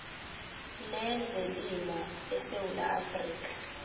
lezelimo esewula afrika